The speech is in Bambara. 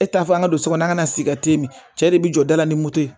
E t'a fɔ an ka don so kɔnɔ an ka na sigi min cɛ de bi jɔ da la ni moto ye